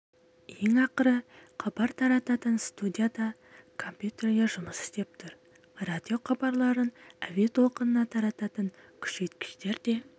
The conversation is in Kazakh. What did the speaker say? ең ақыры хабар тарататын студияда да компьютерлер жұмыс істеп тұр радиохабарларын әуе толқынына тарататын күшейткіштер де